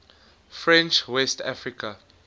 french west africa